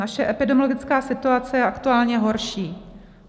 Naše epidemiologická situace je aktuálně horší.